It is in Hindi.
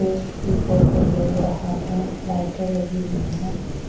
एक ये फोटो ले रहा है लाइटे लगी हुई है।